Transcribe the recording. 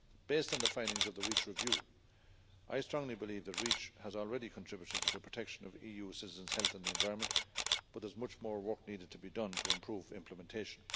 Based on the findings of the Reach review, I strongly believe that Reach has already contributed to the protection of EU citizens' health and the environment, but there is much more work needed to be done to improve implementation.